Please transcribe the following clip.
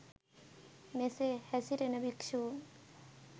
මෙසේ හැසිරෙන භික්‍ෂූන්